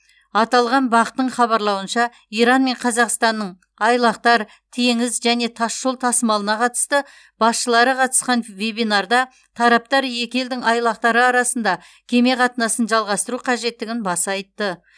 аталған бақ тың хабарлауынша иран мен қазақстанның айлақтар теңіз және тасжол тасымалына қатысты басшылары қатысқан вебинарда тараптар екі елдің айлақтары арасында кеме қатынасын жалғастыру қажеттігін баса айтты